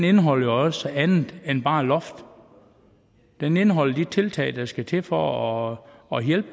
indeholder jo også andet end bare et loft den indeholder de tiltag der skal til for at hjælpe